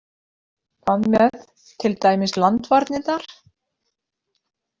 Hvað með til dæmis landvarnirnar?